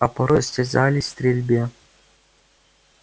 а порой состязались в стрельбе